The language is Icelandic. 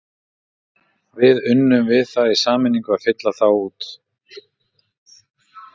Við unnum við það í sameiningu að fylla þá út.